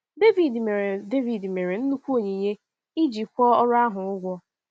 Devid mere Devid mere nnukwu onyinye iji kwụọ ọrụ ahụ ụgwọ.